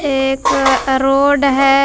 एक रोड हैं।